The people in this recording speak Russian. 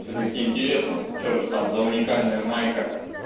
всё-таки интересно что же там за уникальная майка